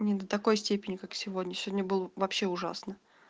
не до такой степени как сегодня сегодня был вообще ужасно